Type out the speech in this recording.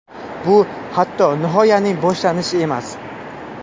Bu hatto nihoyaning boshlanishi emas.